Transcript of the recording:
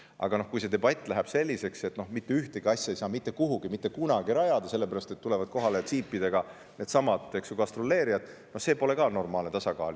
Aga kui see debatt läheb selliseks, et mitte ühtegi asja ei saa mitte kuhugi mitte kunagi rajada, sellepärast et Jeepidega tulevad kohale needsamad gastroleerijad, siis see pole ka normaalne tasakaal.